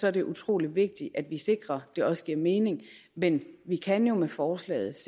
er det utrolig vigtigt at vi sikrer det også giver mening men vi kan jo med forslaget